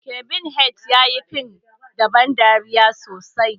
Kevin Hart ya iya fim na ban dariya sosai.